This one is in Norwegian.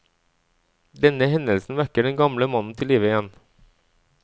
Denne hendelsen vekker den gamle mannen til live igjen.